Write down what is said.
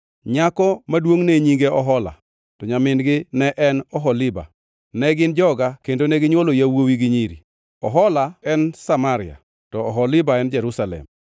Nyako maduongʼ ne nyinge Ohola, to nyamingi ne en Oholiba. Ne gin joga kendo neginywolo yawuowi gi nyiri. Ohola en Samaria to Oholiba en Jerusalem.